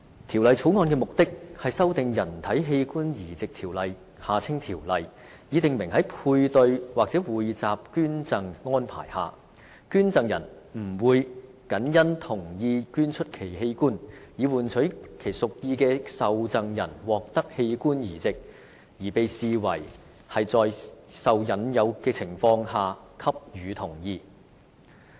《條例草案》的目的，是修訂《人體器官移植條例》，以訂明在配對或匯集捐贈安排下，捐贈人不會謹因同意捐出其器官，以換取其屬意的受贈人獲得器官移植，而被視為是在受引誘的情況下給予同意。